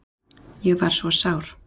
Ég var svo sár.